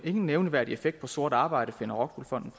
ingen nævneværdig effekt på sort arbejde har rockwool fonden